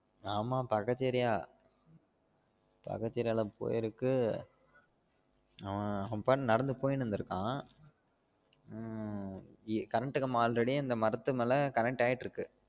ஆமா பக்கத்து area பக்கத்து area ல போயிருக்கு அவன் அப்போ நடந்து போயினு இருந்துருக்கான் உம் current கம்பம் already அந்த மரத்து மேலால் connect ஆயிட்டு இருக்கு